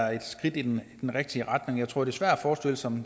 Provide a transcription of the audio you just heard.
er et skridt i den rigtige retning jeg tror det er svært at forestille sig